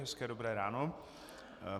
Hezké dobré ráno.